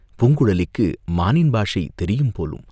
பூங்குழலிக்கு மானின் பாஷை தெரியும் போலும்!